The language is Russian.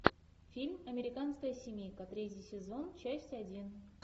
фильм американская семейка третий сезон часть один